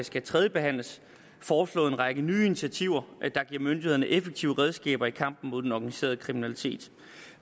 skal tredjebehandles foreslået en række nye initiativer der giver myndighederne effektive redskaber i kampen mod den organiserede kriminalitet